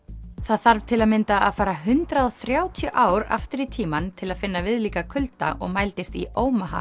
það þarf til að mynda að fara hundrað og þrjátíu ár aftur í tímann til að finna viðlíka kulda og mældist í